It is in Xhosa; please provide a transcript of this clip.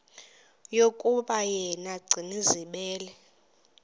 yokuba yena gcinizibele